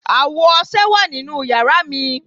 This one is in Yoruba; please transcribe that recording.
Awo ọṣẹ wa ninu yara mi